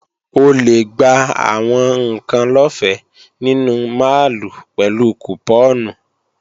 O lè gba àwọn ǹkan lọ́fẹ́ nínú máàlù pẹ̀lú kùpọ́ọ̀nù